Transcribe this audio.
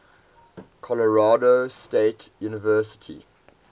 colorado state university